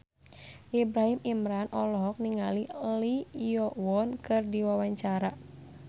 Ibrahim Imran olohok ningali Lee Yo Won keur diwawancara